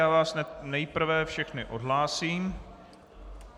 Já vás nejprve všechny odhlásím.